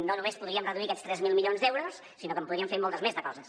no només podríem reduir aquests tres mil milions d’euros sinó que en podríem fer moltes més de coses